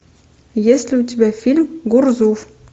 есть ли у тебя фильм гурзуф